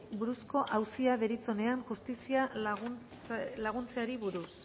buruzko auzia deritzonean justiziari laguntzeari buruz